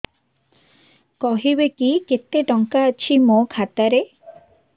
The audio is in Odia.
କହିବେକି କେତେ ଟଙ୍କା ଅଛି ମୋ ଖାତା ରେ